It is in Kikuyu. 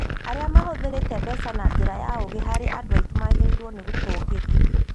Arĩa mahũthĩrĩte mbeca na njĩra ya ũgĩ harĩ andũ aitũ magĩrĩirwo gũtũgĩrio